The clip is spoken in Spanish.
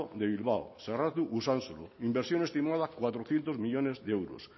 de bilbao usánsolo inversión estimada cuatrocientos millónes de euros